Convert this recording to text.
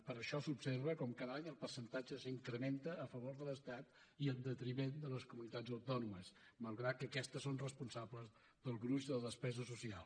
per això s’observa com cada any que el percentatge s’incrementa a favor de l’estat i en detriment de les comunitats autònomes malgrat que aquestes són responsables del gruix de la despesa social